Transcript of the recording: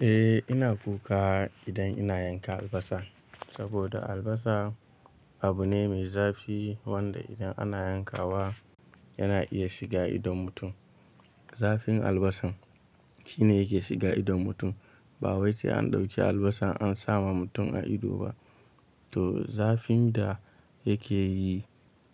Eh ina kuka idan ina yankan albasa. Saboda albasa abu ne mai zafi wanda idan ana yankawa yana iya shiga idon mutum. Zafin albasan shine yake shiga idon mutum. Ba wai sai an ɗauki albasa an sa ma mutum a ido ba. To zafin da yake yi,